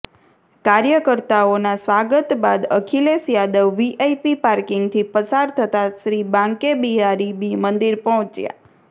કાર્યકર્તાઓનાં સ્વાગત બાદ અખિલેશ યાદવ વીઆઇપી પાર્કિંગથી પસાર થતા શ્રી બાંકે બિહારી મંદિર પહોંચ્યા